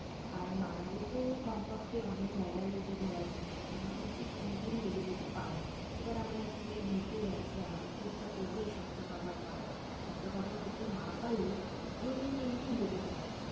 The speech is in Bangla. আর মানালি তো কমপক্ষে অনেক জায়গা রয়েছে ঘোরার জন্য, সেখানেও কিন্তু তিন দিন লেগে যেতে পারে, এবার আমার একটা জায়গা ঘুরতে যাচ্ছি, আমাদের তো ইচ্ছা করবেই সব তা cover করার, সব টা cover করতে না পারলে ও, দুদিন তিন দিন লেগে যাবে।